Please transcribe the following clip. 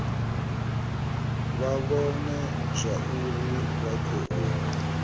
vha vhone zwauri vha khou